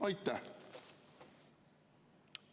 Aitäh!